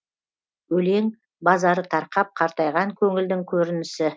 өлең базары тарқап қартайған көңілдің көрінісі